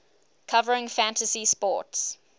covering fantasy sports